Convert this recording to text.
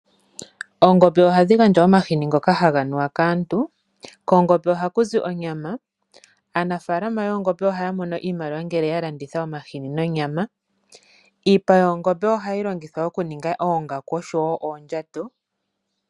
Oongombe ohadhi gandja omahini ngoka nuwa kaantu. Koongombe ohaku zi onyama. Aanafalama yoongombe ohaya mono iimaliwa ngele ya landitha omahini nonyama. Iipa yoongombe ohayi longithwa okuninga oongaku osho wo oondjato.